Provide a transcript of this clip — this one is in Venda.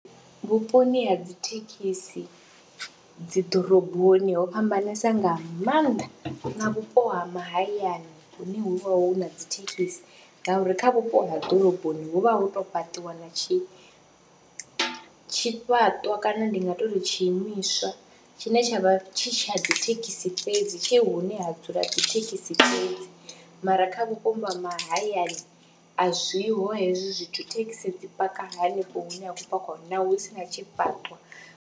Vhuponi ha dzi thekhisi dzi ḓoroboni ho fhambanesa nga maanḓa na vhupo ha mahayani hune hu vha hu na dzi thekhisi ngauri kha vhupo ha ḓoroboni hu vha hu tou fhaṱiwa na tshi tshifhaṱwa kana ndi nga tou ri tshiimiswa tshine tsha vha tshi tsha dzi thekhisi fhedzi, tshe hune ha dzula dzi thekhisi fhedzi mara kha vhuponi ha mahayani a zwiho hezwi zwithu, thekhisi dzi paka hanefho hune ha khou pakwa hone naho hu si na tshifhaṱo.